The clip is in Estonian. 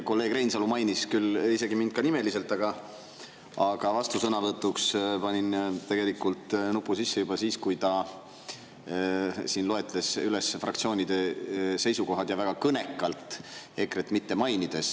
Kolleeg Reinsalu küll mainis mind nimeliselt, aga vastusõnavõtuks panin tegelikult nupu sisse juba siis, kui ta loetles siin üles fraktsioonide seisukohad, seejuures väga kõnekalt EKRE-t mitte mainides.